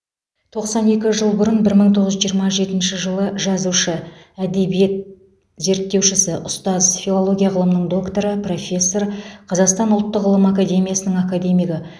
тоқсан екі жыл бұрын бір мың тоғыз жүз жиырма жетінші жылы жазушы әдебиет зерттеушісі ұстаз филология ғылымының докторы профессор қазақстан ұлттық ғылым академиясының академигі